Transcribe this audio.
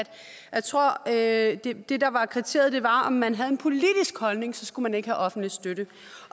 jeg tror at det der var kriteriet var om man havde en politisk holdning så skulle man ikke have offentlig støtte